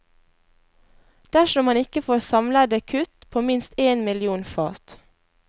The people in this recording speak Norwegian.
Dersom man ikke får samlede kutt på minst én million fat.